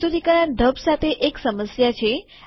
પ્રસ્તુતિકરણ ઢબ presentation mode સાથે એક સમસ્યા છે